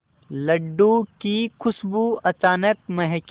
लड्डू की खुशबू अचानक महके